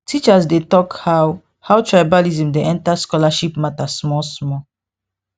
teachers dey talk how how tribalism dey enter scholarship matter small small